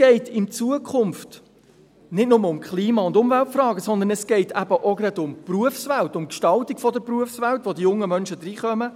In Zukunft geht es nicht nur um Klima- und Umweltfragen, sondern auch um die Berufswelt, um die Gestaltung der Berufswelt, in welche die jungen Menschen hineinkommen;